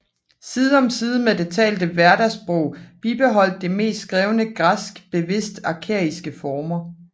Side om side med det talte hverdagssprog bibeholdt det meste skrevne græsk bevidst arkæiske former